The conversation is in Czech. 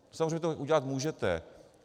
Samozřejmě to udělat můžete.